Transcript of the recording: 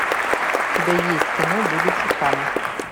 у тебя есть кино будучи там